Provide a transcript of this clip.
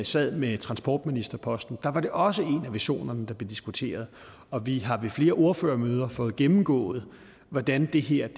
sad med transportministerposten var det også en af visionerne der blev diskuteret og vi har ved flere ordførermøder fået gennemgået hvordan det her